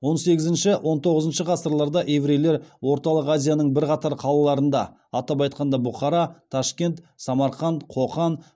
он сегізінші он тоғызыншы ғасырларда еврейлер орталық азияның бірқатар қалаларында атап айтқанда бұхара ташкент самарқан қоқан